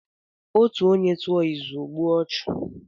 Otú onye tụọ izù, ọ gbuo ọchụ.